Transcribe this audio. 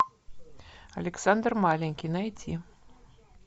александр маленький найти